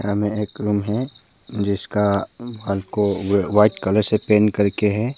सामने एक रूम है जिसका वॉल को व्हाइट कलर से पेंट करके हैं।